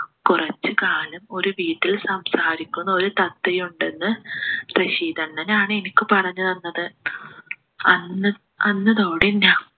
കുറച്ചുകാലം ഒരു വീട്ടിൽ സംസാരിക്കുന്ന ഒരു തത്തയുണ്ടെന്ന് റഷീദ് അണ്ണനാണ് എനിക്ക് പറഞ്ഞു തന്നത് അന്ന് അന്ന്തോടെ ഞാ